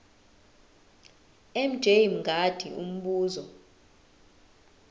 mj mngadi umbuzo